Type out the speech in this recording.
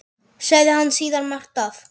Sagði hann síðan margt af